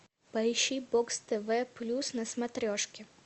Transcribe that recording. поищи бокс тв плюс на смотрешке